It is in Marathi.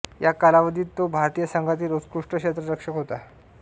या कालावधीत तो भारतीय संघातील उत्कृष्ट क्षेत्ररक्षक होता